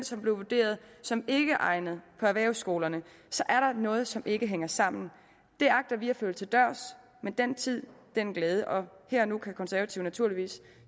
som blev vurderet som ikkeegnede på erhvervsskolerne er der noget som ikke hænger sammen det agter vi at følge til dørs men den tid den glæde og her og nu kan de konservative naturligvis